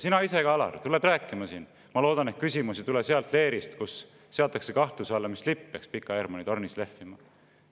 Sina ise ka, Alar, tuled rääkima siin, et sa loodad, et küsimus ei tule sealt leerist, kus seatakse kahtluse alla, mis lipp peaks Pika Hermanni tornis lehvima.